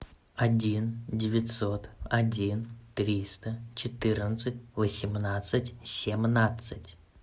один девятьсот один триста четырнадцать восемнадцать семнадцать